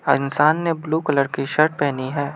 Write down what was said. इंसान ने blue colour की शर्ट पहनी है।